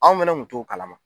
Anw fɛnɛ kun t'o kalama